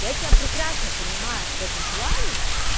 я тебя прекрасно понимаю в этом плане